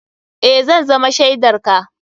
Eh, za zama shaidar ka.